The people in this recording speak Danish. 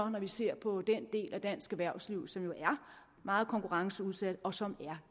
man ser på den del af dansk erhvervsliv som er meget konkurrenceudsat og som er